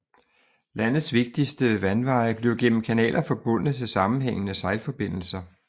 Landets vigtigste vandveje blev gennem kanaler forbundne til sammenhængende sejlforbindelser